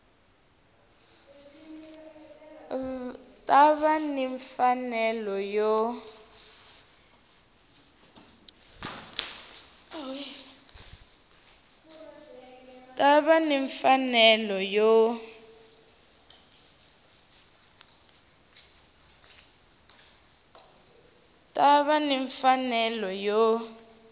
ta va ni mfanelo yo